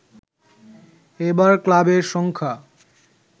এবার ক্লাবের সংখ্যা